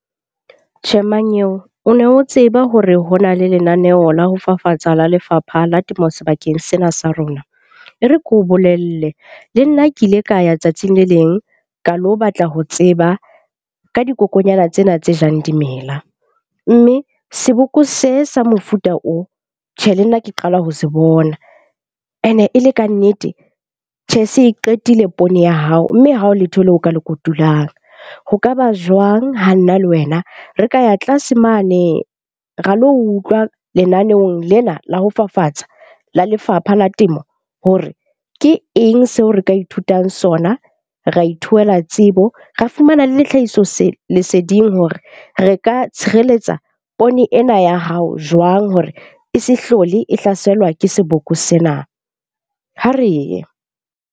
Tjhe, mmanyeo o ne o tseba hore ho na le lenaneo la ho fafatsa la Lefapha la Temo sebakeng sena sa rona? E re ko bolelle le nna ke ile ka ya tsatsing le leng ka lo batla ho tseba ka dikokonyana tsena tse jang dimela. Mme seboko se sa mofuta oo. Tjhe, le nna ke qala ho se bona ene e le kannete. Tjhe se qetile poone ya hao, mme ha ho letho leo o ka le kotulang ho kaba jwang ha nna le wena re ka ya tlase mane, ra lo utlwa lenaneong lena la ho fafatsa la Lefapha la Temo. Hore ke eng seo re ka ithutang sona, ra tsebo, ra fumana le tlhahiso leseding hore re ka tshireletsa poone ena ya hao jwang hore e se hlole e hlaselwa ke seboko sena. Ha re ye.